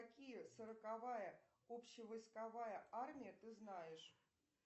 какие сороковая общевойсковая армия ты знаешь